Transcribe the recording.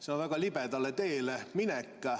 See on väga libedale teele minek.